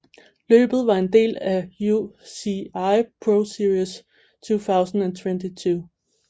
Løbet var en del af UCI ProSeries 2022